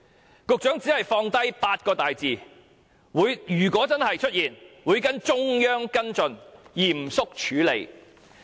然而，局長只是放下8個大字——如果真的出現，會跟——"中央跟進，嚴肅處理"。